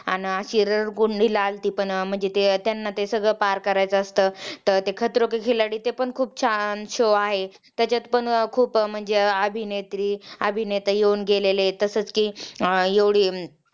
आणि अशी रडकुंडली आलती पण म्हणजे ते त्यांना ते सगळं पार करायचा असत तर ते खतरो के खिलाडी ते पण खुप छान show आहे त्याच्यात पण म्हणजे खुप अभिनेत्री अभिनेता येऊन गेलेले आहेत तसेच कि अं एवढी अं